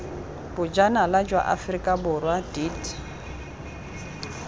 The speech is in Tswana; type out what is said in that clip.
bojanala jwa aforika borwa deat